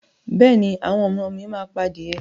Bẹ́ẹ̀ ni, àwọn ọmọ mi máa pa adìẹ